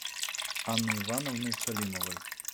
анны ивановны салимовой